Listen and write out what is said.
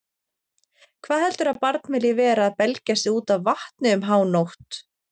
Hvað heldurðu að barnið vilji vera að belgja sig út af vatni um hánótt